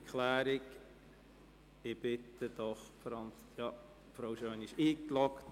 Diese wird mit einer Erklärung zurückgezogen.